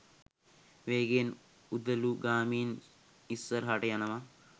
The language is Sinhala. වේගයෙන් උදළුගාමින් ඉස්සරහට යනව